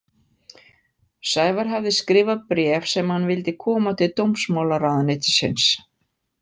Sævar hafði skrifað bréf sem hann vildi koma til dómsmálaráðuneytisins.